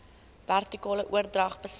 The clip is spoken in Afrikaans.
vertikale oordrag besmet